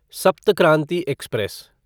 सप्त क्रांति एक्सप्रेस